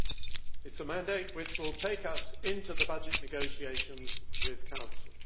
It is a mandate which will take us into the budget negotiations with the Council.